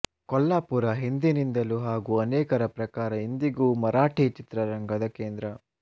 ಕೊಲ್ಲಾಪುರ ಹಿಂದಿನಿಂದಲೂ ಹಾಗೂ ಅನೇಕರ ಪ್ರಕಾರ ಇಂದಿಗೂ ಮರಾಠಿ ಚಿತ್ರರಂಗದ ಕೇಂದ್ರ